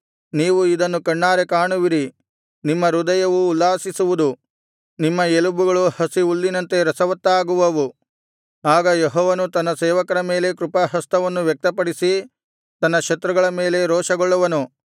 ನೀವು ಇದನ್ನು ಕಣ್ಣಾರೆ ಕಾಣುವಿರಿ ನಿಮ್ಮ ಹೃದಯವು ಉಲ್ಲಾಸಿಸುವುದು ನಿಮ್ಮ ಎಲುಬುಗಳು ಹಸಿ ಹುಲ್ಲಿನಂತೆ ರಸವತ್ತಾಗುವವು ಆಗ ಯೆಹೋವನು ತನ್ನ ಸೇವಕರ ಮೇಲೆ ಕೃಪಾಹಸ್ತವನ್ನು ವ್ಯಕ್ತಪಡಿಸಿ ತನ್ನ ಶತ್ರುಗಳ ಮೇಲೆ ರೋಷಗೊಳ್ಳುವನು